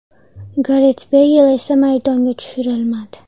Garet Beyl esa maydonga tushirilmadi.